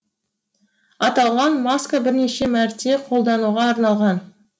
аталған маска бірнеше мәрте қолдануға арналған